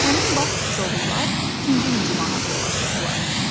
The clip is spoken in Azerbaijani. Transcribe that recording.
Həmin vaxt Siçovullar ikinci hücuma hazırlaşırdılar.